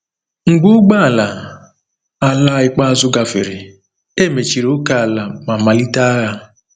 Mgbe ụgbọ ala ala ikpeazụ gafere, e mechiri ókèala ma malite agha.